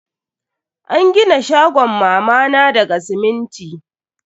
An gina shagon mama na daga siminti.